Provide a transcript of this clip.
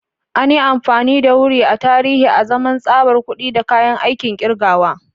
An yi amfani da wuri a tarihi azaman tsabar kuɗi da kayan aikin kirgawa.